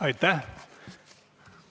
Aitäh!